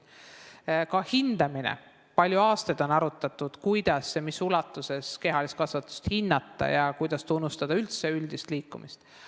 Ka on palju aastaid arutatud, kuidas ja mis ulatuses kehalist kasvatust hinnata ning kuidas tunnustada üldse üldist liikumist.